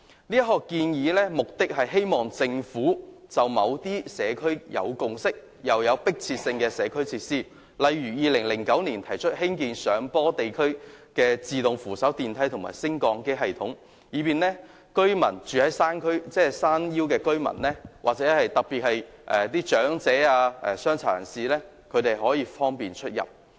這項建議的目的是希望政府興建一些在社區已有共識並有迫切性的社區設施，例如2009年提出興建上坡地區自動扶手電梯和升降機系統，以方便居於山腰的居民，特別是長者及殘疾人士出入。